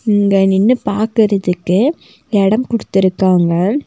இங்க நின்னு பாக்கறதுக்கு எடம் குடுத்துருக்காங்க.